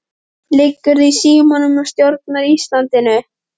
Liggurðu í símanum og stjórnar Íslandinu?